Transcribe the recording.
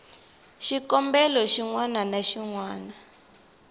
xikombelo xin wana na xin